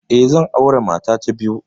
Eh, zan aure mata ta biyu.